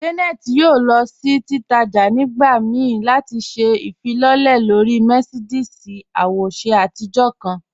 Janet yóò lọ sí títàjà̀ nígbà míí láti ṣẹ̀ ifilọlẹ̀ lọ̀rí Mercedes àwòṣè àtijọ̀ kan.